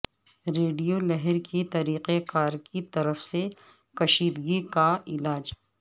radio لہر کے طریقہ کار کی طرف سے کشیدگی کا علاج